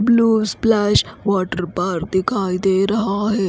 Blue blush water park दिखाई दे रहा है।